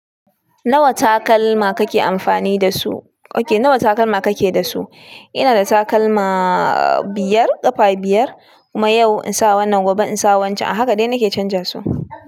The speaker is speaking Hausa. Nawa takalma kake amfani dasu? Okay, nawa takalma ka ke da su? Ina da takalma biyar, ƙafa biyar. Kuma yau in sa wannan, gobe in sa wancan. A haka dai nake canza su.